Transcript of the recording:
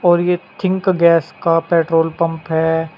और यह Think Gas का पेट्रोल पंप है।